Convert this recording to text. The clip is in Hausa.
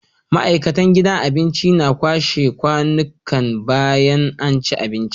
ma'aikatan gidan abincin na kwashe kwanikan bayan anci abinci